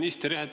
Hea minister!